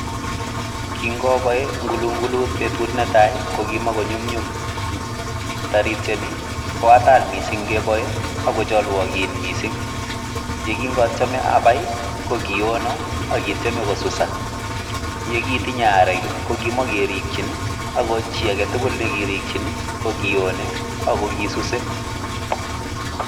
Kingoboi ngulngulut betut netai ko kimagonyumnyum tarityani ko atal mising' ngebboe ago chalwogin mising'. Ye kinatyeme abai kogiwonon ak kityeme kosusan ye kitenye arek kokimokerikyin ago chi aage tugul nekirikyin kokiwone agosuse.